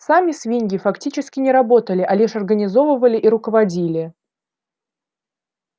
сами свиньи фактически не работали а лишь организовывали и руководили